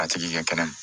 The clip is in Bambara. A tigi kɛ kɛnɛ ma